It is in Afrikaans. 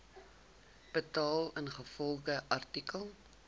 betaal ingevolge artikel